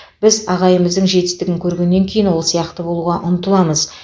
біз ағайымыздың жетістігін көргеннен кейін ол сияқты болуға ұмтыламыз